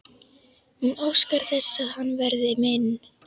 Hún óskar þess að hann verði minn.